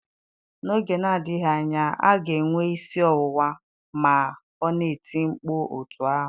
N'oge na-adịghị anya ọ ga-enwe isi ọwụwa ma ọ na-eti mkpu otú ahụ